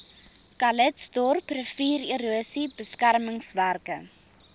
calitzdorp riviererosie beskermingswerke